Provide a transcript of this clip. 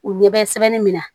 U ɲɛ bɛ sɛbɛnni min na